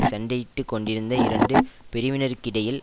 சண்டையிட்டு கொண்டிருந்த இரண்டு பிரிவினருக்கிடையில்